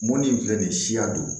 Mɔni in filɛ nin ye siya don